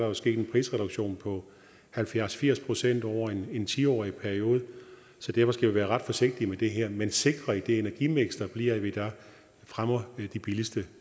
er sket en prisreduktion på halvfjerds til firs procent over en ti årig periode så derfor skal vi være ret forsigtige med det her men sikre at det energimiks der bliver fremmer de billigste